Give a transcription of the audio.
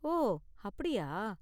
ஓ அப்படியா.